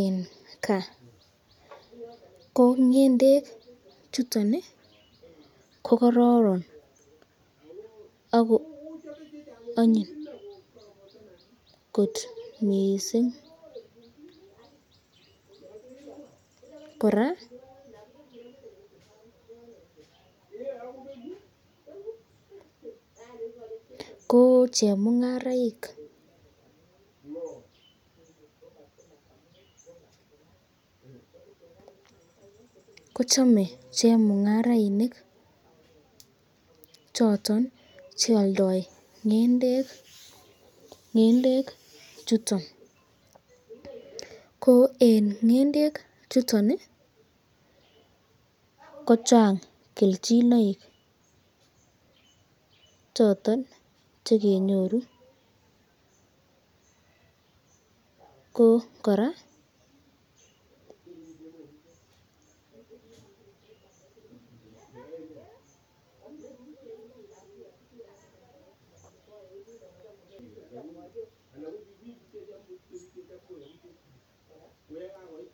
eng kaa, ko ngendek chuton ko Karan ako anyun kot mising, koraa ko chemungaraik kichame chemungarainik choton chealdae ngendek chuton, ko eng ngendek chuton ko chang kelchinoik choton chekinyoru, ko koraa .